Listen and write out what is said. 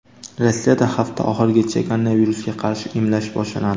Rossiyada hafta oxirigacha koronavirusga qarshi emlash boshlanadi.